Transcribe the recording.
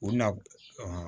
U na